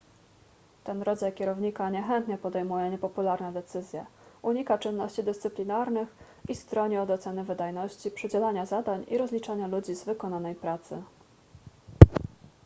ten rodzaj kierownika niechętnie podejmuje niepopularne decyzje unika czynności dyscyplinarnych i stroni od oceny wydajności przydzielania zadań i rozliczania ludzi z wykonanej pracy